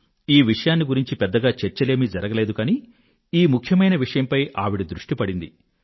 ఈ విషయాన్ని గురించి పెద్దగా చర్చలేమీ జరగలేదు కానీ ఈ ముఖ్యమైన విషయంపై ఆవిడ దృష్టి పడింది